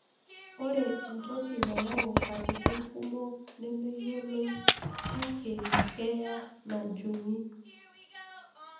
Ore entoki nayau katitin kumok nemeyioloi, kake keya najungi.